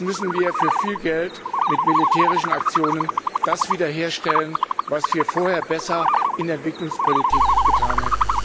Jetzt müssen wir für viel Geld mit militärischen Aktionen das wieder herstellen, was wir vorher besser in der Entwicklungspolitik getan hätten.